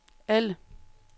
alle